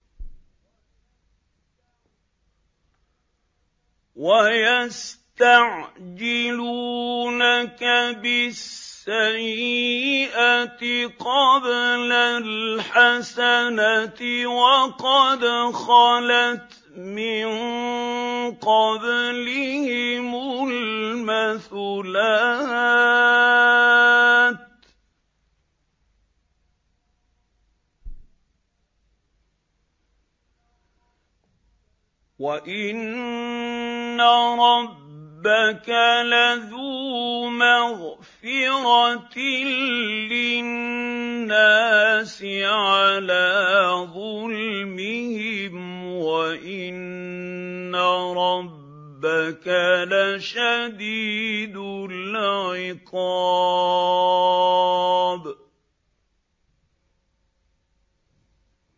وَيَسْتَعْجِلُونَكَ بِالسَّيِّئَةِ قَبْلَ الْحَسَنَةِ وَقَدْ خَلَتْ مِن قَبْلِهِمُ الْمَثُلَاتُ ۗ وَإِنَّ رَبَّكَ لَذُو مَغْفِرَةٍ لِّلنَّاسِ عَلَىٰ ظُلْمِهِمْ ۖ وَإِنَّ رَبَّكَ لَشَدِيدُ الْعِقَابِ